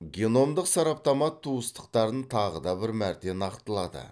геномдық сараптама туыстықтарын тағы да бір мәрте нақтылады